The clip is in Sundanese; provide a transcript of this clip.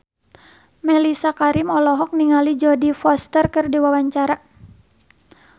Mellisa Karim olohok ningali Jodie Foster keur diwawancara